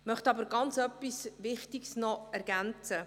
Ich möchte etwas sehr Wichtiges ergänzen: